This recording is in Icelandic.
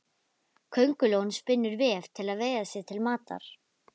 Köngulóin spinnur vef til að veiða sér til matar.